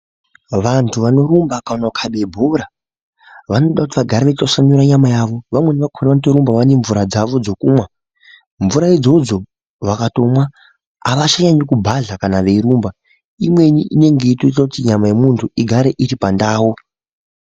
Vantu vanorumba kana kukhabe bhora vanoda kuti vagare veitwasanura nyama yavo. Vamweni vakhona vanotorumba nemvura dzavo dzekumwa. Mvura idzodzo vakatomwa havachaendi kubhadhla kana veirumba. Imweni inonge ichitoita kuti nyama yemuntu igare iripandau.